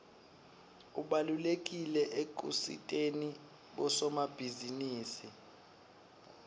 ubalulekile ekusiteni bosomabhizinisi